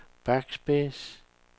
backspace